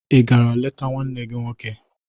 Ị gara leta nwanne gị nwoke?